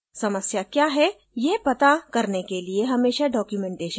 समस्याएँ क्या हैं यह पता करने के लिए हमेशा documentation पढें